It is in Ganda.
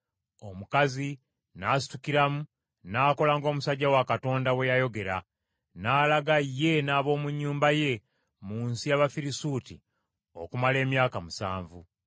Omukazi n’asitukiramu n’akola ng’omusajja wa Katonda bwe yayogera, n’alaga ye n’ab’omu nnyumba ye mu nsi y’Abafirisuuti okumala emyaka musanvu.